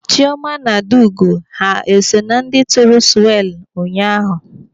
Chioma na Adaugo ha eso na ndị tụrụ swelu ụnyaahụ?